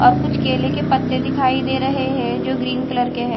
और कुछ केले के पत्ते दिखाई दे रहे है जो ग्रीन कलर के है।